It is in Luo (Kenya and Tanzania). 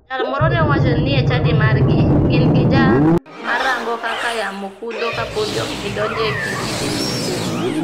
Jal moro ne wacho ni e chadi margi, gin gi jal marango kaka yamo kudho kapodi ok gidonjo e pii ni gidhilupo.